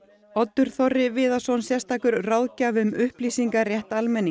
Oddur Þorri Viðarsson sérstakur ráðgjafi um upplýsingarétt almennings